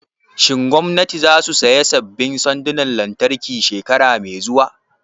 Shin gwamnatin za su saya sabbin sandonan lantarki shekara mai zuwa?